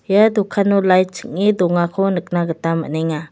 ia dokano lait ching·e dongako nikna gita man·enga.